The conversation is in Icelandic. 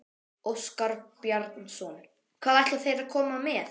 Óskar Bjarnason: Hvað ætla þeir að koma með?